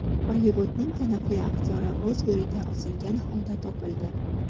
Bollivudning taniqli aktyori o‘z uyida osilgan holda topildi.